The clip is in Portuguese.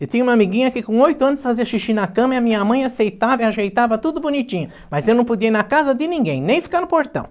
Eu tinha uma amiguinha que com oito anos fazia xixi na cama e a minha mãe aceitava e ajeitava tudo bonitinho, mas eu não podia ir na casa de ninguém, nem ficar no portão.